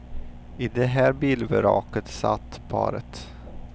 I det här bilvraket satt paret.